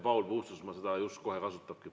Paul Puustusmaa seda kohe kasutabki.